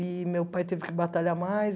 E meu pai teve que batalhar mais.